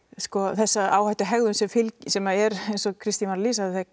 þessa áhættuhegðun sem fylgir sem er eins og Kristín var að lýsa